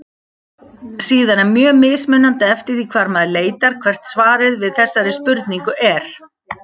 Síðan er mjög mismunandi eftir því hvar maður leitar hvert svarið við þessari spurningu er.